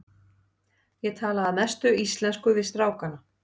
Ég tala að mestu íslensku við strákana.